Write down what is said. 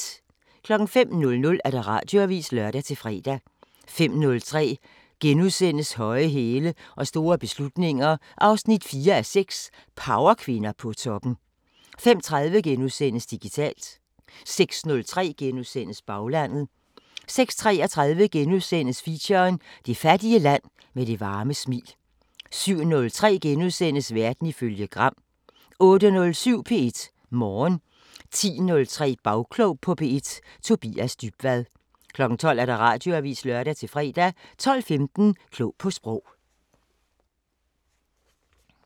05:00: Radioavisen (lør-fre) 05:03: Høje hæle og store beslutninger 4:6 – Powerkvinder på toppen * 05:30: Digitalt * 06:03: Baglandet * 06:33: Feature: Det fattige land med det varme smil * 07:03: Verden ifølge Gram * 08:07: P1 Morgen 10:03: Bagklog på P1: Tobias Dybvad 12:00: Radioavisen (lør-fre) 12:15: Klog på Sprog